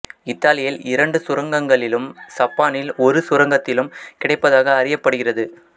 இத்தாலியில் இரண்டு சுரங்கங்களிலும் சப்பானில் ஒரு சுரங்கத்திலும் கிடைப்பதாக அறியப்படுகிறது